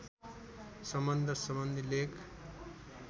सम्बन्ध सम्बन्धी लेख